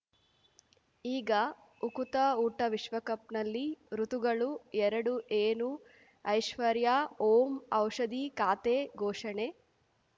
ಈಗ ಉಕುತ ಊಟ ವಿಶ್ವಕಪ್‌ನಲ್ಲಿ ಋತುಗಳು ಎರಡು ಏನು ಐಶ್ವರ್ಯಾ ಓಂ ಔಷಧಿ ಖಾತೆ ಘೋಷಣೆ